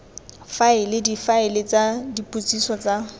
faela difaele tsa dipotsiso tsa